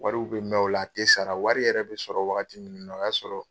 Wariw bɛ mɛn o la a tɛ sara wari yɛrɛ bɛ sɔrɔ wagati min na o y'a sɔrɔ